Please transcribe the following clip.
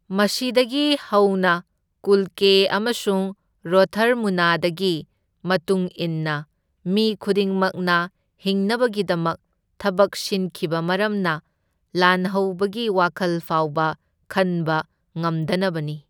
ꯃꯁꯤꯗꯒꯤ ꯍꯧꯅ ꯀꯨꯜꯀꯦ ꯑꯃꯁꯨꯡ ꯔꯣꯊꯔꯃꯨꯅꯗꯒꯤ ꯃꯇꯨꯡ ꯏꯟꯅ, ꯃꯤ ꯈꯨꯗꯤꯡꯃꯛꯅ ꯍꯤꯡꯅꯕꯒꯤꯗꯃꯛ ꯊꯕꯛ ꯁꯤꯟꯈꯤꯕ ꯃꯔꯝꯅ ꯂꯥꯟꯍꯧꯕꯒꯤ ꯋꯥꯈꯜ ꯐꯥꯎꯕ ꯈꯟꯕ ꯉꯝꯗꯅꯕꯅꯤ꯫